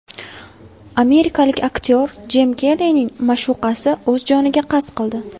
Amerikalik aktyor Jim Kerrining ma’shuqasi o‘z joniga qasd qildi.